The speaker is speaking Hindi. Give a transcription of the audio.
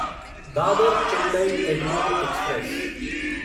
दादर चेन्नई एगमोर एक्सप्रेस